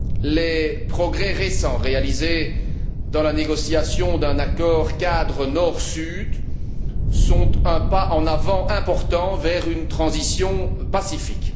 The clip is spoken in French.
Les progrès récents réalisés dans la négociation d'un accord cadre Nord Sud sont un pas en avant important vers une transition pacifique.